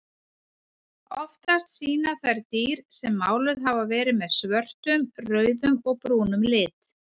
Oftast sýna þær dýr sem máluð hafa verið með svörtum, rauðum og brúnum lit.